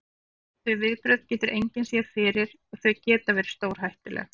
Þau viðbrögð getur engin séð fyrir og þau geta verið stórhættuleg.